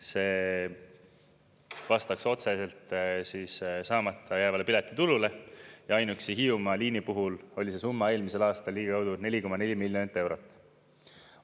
See vastaks otseselt saamata jäävale piletitulule ja ainuüksi Hiiumaa liini puhul oli see summa eelmisel aastal ligikaudu 4,4 miljonit eurot.